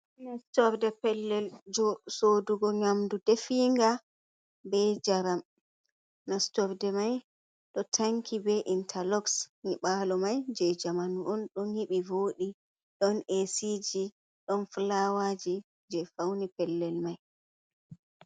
Nastorde pellel sodugo nyamdu definga be jaram, nastorde mai ɗo tanki be intaloxs yniɓalo mai je jamanu on ɗon nyibi vodi don esiji ɗon fulawaji je fauni pellel mai.